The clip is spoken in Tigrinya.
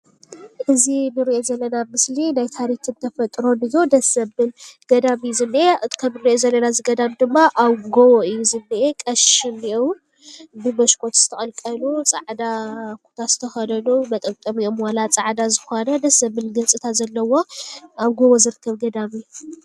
እዚ እንሪኦ ዘለና ምስሊ ናይ ታሪክን ተፈጥሮን እዩ። ደስ ዘብል ገዳም እዩ ዝኒአ ።ከምእንሪኦ ዘለና እዚ ገዳም ድማ ኣብ ጎቦ እዩ ዝኒአ ።ቀሺ እኒአው ።ብመስኮት ዝተቀልቀሉ ፃዕዳ ኩታ ዝተከደኑ መጠምጠሚኦም ዋላ ፃዕዳ ዝኮነ። ደስ ዘብል ገፅታ ዘለዎ ኣብ ጎቦ ዝርከብ ገዳም እዩ ።